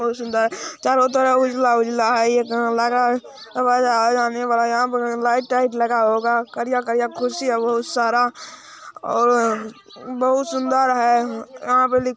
बहुत सुन्दर चारो तरफ उजला-उजला है ये लगा यहाँ पर लाइट ताइट लगा होगा करिया-करिया कुर्सी है बहुत सारा और बहुत सुन्दर है वहां पे लि----